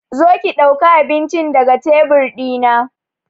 Zo ki dauka abincin ga daga tebur dina!